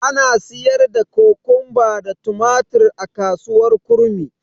Ana siyar da Kokomba da tumatir a kasuwar kurmi.